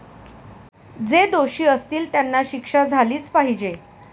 जे दोषी असतील त्यांना शिक्षा झालीच पाहिजे.